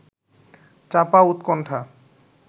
চাপা উৎকণ্ঠা